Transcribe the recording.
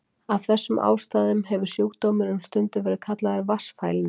Af þessum ástæðum hefur sjúkdómurinn stundum verið kallaður vatnsfælni.